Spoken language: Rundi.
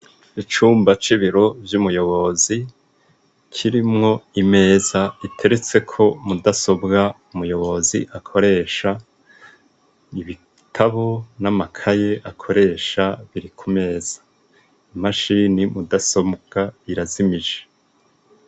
Icumba c'ibiro vy'umuyobozi kirimwo imeza iteretse ko mudasobwa umuyobozi akoresha ibitabo n'amakaye akoresha biri ku meza imashini mudasobwa irazimije.